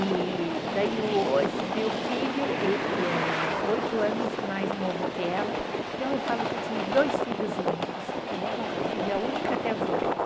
E daí esse meu filho, ele é oito anos mais novo que ela, então eu falo que eu tive dois filhos únicos, porque ela foi filha única até os oito.